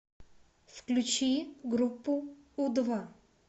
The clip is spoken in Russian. включи группу у два